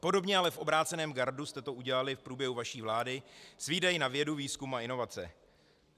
Podobně, ale v obráceném gardu jste to udělali v průběhu vaší vlády s výdaji na vědu, výzkum a inovace.